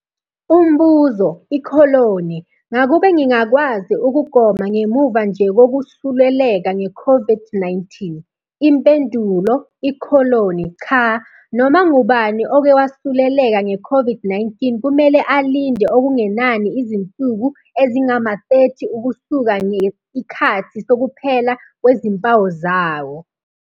Umbuzo- Ngakube ngingakwazi ukugoma ngemuva nje kokwesuleleka ngeCOVID-19? Impendulo- Cha. Noma ngubani oke wasuleleka ngeCOVID-19 kumele alinde okungenani izinsuku ezingama-30 ukusuka nge ikhathi sokuphela kwezimpawu zayo.